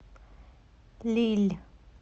лилль